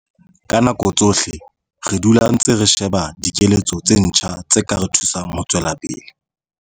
Ka nako tsohle re dula re ntse re sheba dikeletso tse ntjha tse ka re thusang ho tswela pele.